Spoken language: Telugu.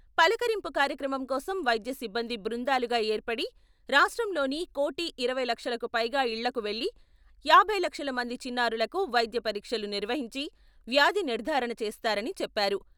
పలకరింపు కార్యక్రమం కోసం వైద్య సిబ్బంది బృందాలుగా ఏర్పడి రాష్ట్రంలోని కోటి ఇరవై లక్షలకు పైగా ఇళ్ళకు వెళ్ళి యాభై లక్షల మంది చిన్నారులకు వైద్య పరీక్షలు నిర్వహించి వ్యాధి నిర్ధారణ చేస్తారని చెప్పారు.